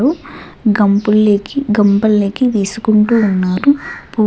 గంపుల్లేకి గంపల్లేకి వేసుకుంటూ ఉన్నారు పు--